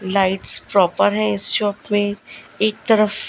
lights proper है इस shop में एक तरफ--